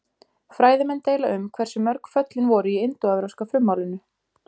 Fræðimenn deila um hversu mörg föllin voru í indóevrópska frummálinu.